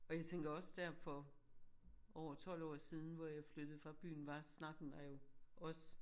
Og jeg tænker også der for over 12 år siden hvor jeg flyttede fra byen var snakken der jo også